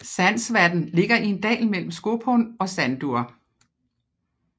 Sandsvatn ligger i en dal mellem Skopun og Sandur